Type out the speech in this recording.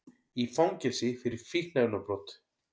Í fangelsi fyrir fíkniefnabrot